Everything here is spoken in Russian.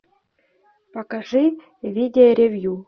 покажи видеоревью